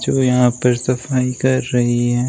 वो यहां पर सफाई कर रही हैं।